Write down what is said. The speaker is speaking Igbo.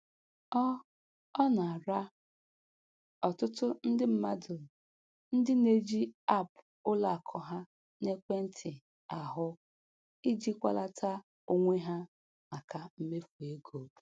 Ọ Ọ na-ara ọtụtụ ndị mmadụ ndị na-eji apụ ụlọakụ ha n'ekwentị ahụ ijikwalata onwe ha maka mmefu ego